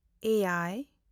ᱮᱭᱟᱭ